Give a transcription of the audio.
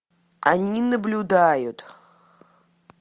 они наблюдают